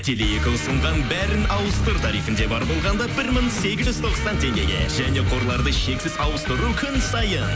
теле екі ұсынған бәрін ауыстыр тарифінде бар болғанда бір мың сегіз жүз тоқсан теңгеге және қорларды шексіз ауыстыру күн сайын